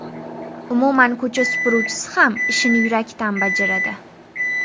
Umuman ko‘cha supuruvchisi ham ishini yurakdan bajaradi.